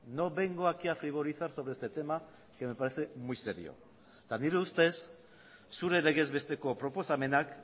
no vengo aquí a frivolizar sobre este tema que meparece muy serio eta nire ustez zure legez besteko proposamenak